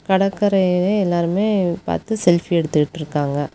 கடற்கரையவே எல்லாருமே பாத்து செல்பி எடுத்துட்ருக்காங்க.